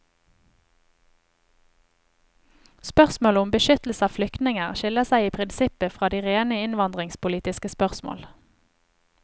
Spørsmålet om beskyttelse av flyktninger skiller seg i prinsippet fra de rene innvandringspolitiske spørsmål.